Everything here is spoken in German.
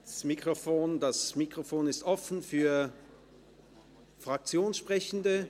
Das Mikrofon ist offen für Fraktionssprechende.